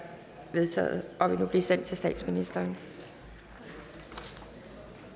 vedtaget og vil nu blive sendt til statsministeren er